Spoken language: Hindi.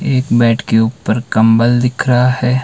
एक बेड के ऊपर कम्बल दिख रहा है।